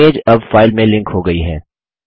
image अब file में link हो गयी है